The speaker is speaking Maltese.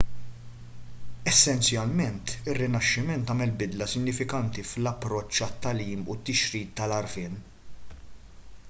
essenzjalment ir-rinaxximent għamel bidla sinifikanti fl-approċċ għat-tagħlim u t-tixrid tal-għarfien